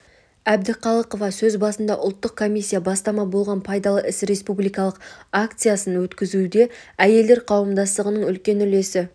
әбдіқалықова сөз басында ұлттық комиссия бастама болған пайдалы іс республикалық акциясын өткізуде әйелдер қауымдастығының үлкен үлесі